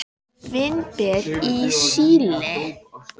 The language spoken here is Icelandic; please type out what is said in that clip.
Vínber í Síle.